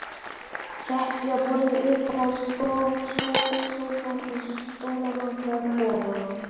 Setja borðið uppá sófann og stólana þar ofaná.